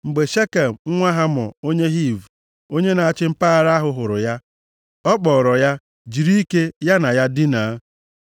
Mgbe Shekem, nwa Hamọ onye Hiv, onye na-achị mpaghara ahụ, hụrụ ya, ọ kpọọrọ ya jiri ike ya na ya dinaa.